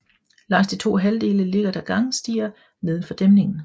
Langs de to halvdele ligger der gangstier nedenfor dæmningen